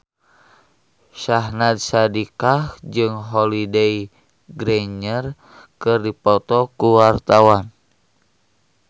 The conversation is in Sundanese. Syahnaz Sadiqah jeung Holliday Grainger keur dipoto ku wartawan